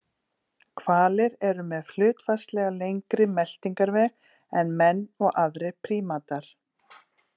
Hvalir eru með hlutfallslega lengri meltingarveg en menn og aðrir prímatar.